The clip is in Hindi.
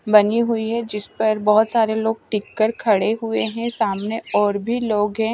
बनी हुई है जिस पर बहुत सारे लोग टिककर खड़े हुए हैं सामने और भी लोग हैं।